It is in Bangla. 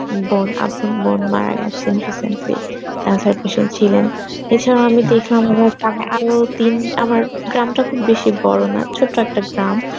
বোন আপন বোন মারা গেছেন recently, cancer patient ছিলেন, এছাড়া আমি দেখলাম আমার আমার গ্রামটা খুব বেশি বড় না ছোট্ট একটা গ্রাম